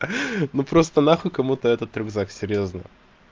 ну просто нахуй кому-то этот рюкзак серьёзно